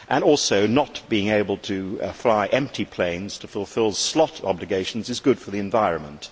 also, not being able to fly empty planes to fulfil slot obligations is good for the environment.